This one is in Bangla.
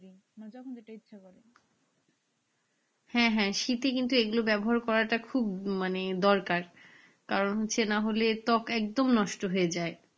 হ্যাঁ হ্যাঁ শীতে কিন্তু এগুলো ব্যবহার করাটা খুব মানে দরকার কারণ হচ্ছে না হলে ত্বক একদম নষ্ট হয়ে যায়।